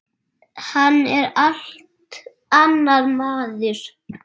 Hann er allt annar maður.